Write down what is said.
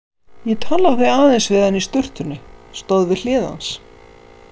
Ég talaði aðeins við hann í sturtunni, stóð við hlið hans.